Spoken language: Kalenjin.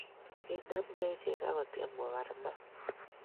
kinamgei ichek akotyem kobar maat